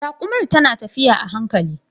Rakumar ta na tafiya a hankali.